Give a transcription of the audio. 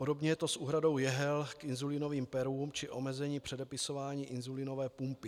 Podobně je to s úhradou jehel k inzulínovým perům či omezením předepisování inzulínové pumpy.